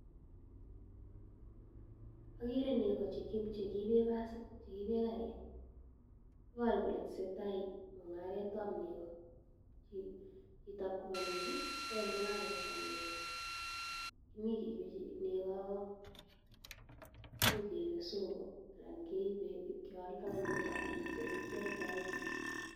Agere nego chekiibe basit, chekiibe karit. Iboru kole tesetai mung'aretab nego. Chitoab koba nechu, kwae mung'aretab nego. Imich keibe nego, imuch keibe sogo anan keibe ibkealdoi eng oli kialdoe.